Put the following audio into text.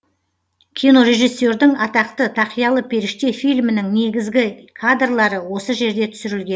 кинорежиссердің атақты тақиялы періште фильмінің негізгі кадрлары осы жерде түсірілген